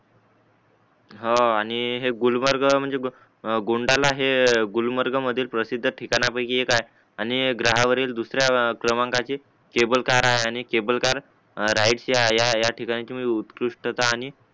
हा आणि हे गुलमर्ग म्हणजेहे गोंडाना हे गुलमर्ग मधील प्रसिद्ध ठिकायापैकी एक आहे आणि ग्रहावेरील दुसऱ्या क्रमांकाची केबलकर हाय आणि केबलकर राईट च्या या या ठिकाणी तुम्ही उत्कृष्टता आणि